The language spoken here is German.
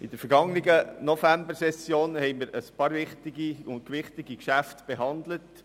In der vergangenen Novembersession behandelten wir einige wichtige und gewichtige Geschäfte.